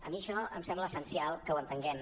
a mi això em sembla essencial que ho entenguem